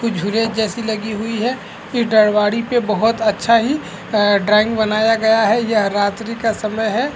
कुछ झूले एक जैसी लगी हुई है ये डरवारी पे बहोत अच्छा ही अ ड्राइंग बनाया गया है यह रात्रि का समय है।